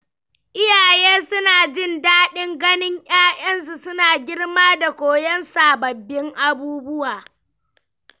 Iyaye suna jin daɗin ganin ‘ya’yansu suna girma da koyon sababbin abubuwa.